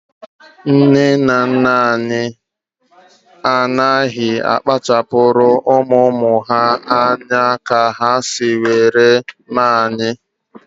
Nne na nna m anaghị akpachapuru ụmụ ụmụ ha anya ka ha si were mee anyị